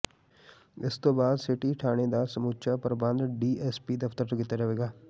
ਇਸ ਤੋਂ ਬਾਅਦ ਸਿਟੀ ਥਾਣੇ ਦਾ ਸਮੂੱਚਾ ਪ੍ਰਬੰਧ ਡੀ ਐਸ ਪੀ ਦਫਤਰ ਤੋਂ ਕੀਤਾ ਜਾਵੇਗਾ